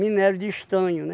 de estanho, né?